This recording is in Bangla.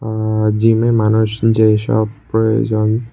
আঃ জিমে মানুষ যেইসব প্রয়োজন।